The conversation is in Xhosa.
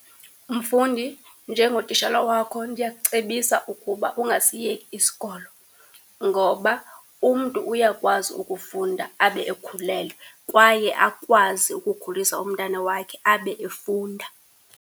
Mfundi, njengotishala wakho ndiyakucebisa ukuba ungasiyeki isikolo, ngoba umntu uyakwazi ukufunda abe ekhulelwe, kwaye akwazi ukukhulisa umntana wakhe abe efunda.